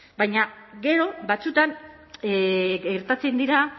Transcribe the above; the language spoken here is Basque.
baina gero batzuetan gertatzen dira